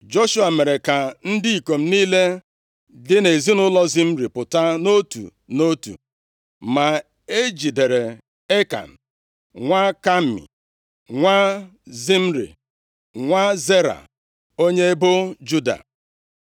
Joshua mere ka ndị ikom niile dị nʼezinaụlọ Zimri pụta nʼotu nʼotu, ma e jidere Ekan, nwa Kami, nwa Zimri, nwa Zera onye ebo Juda.